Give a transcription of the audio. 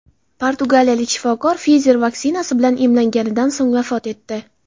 Portugaliyalik shifokor Pfizer vaksinasi bilan emlanganidan so‘ng vafot etdi.